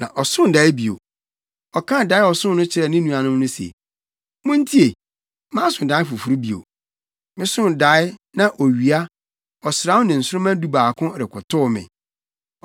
Na ɔsoo dae bio. Ɔkaa dae a ɔsoo no kyerɛɛ ne nuanom no se, “Muntie: Maso dae foforo bio. Mesoo dae, na owia, ɔsram ne nsoromma dubaako rekotow me.”